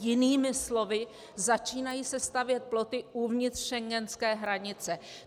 Jinými slovy, začínají se stavět ploty uvnitř schengenské hranice.